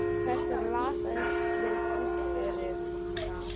Presturinn las það upp við útförina.